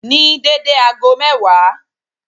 Ní dédé ago mẹ́wàá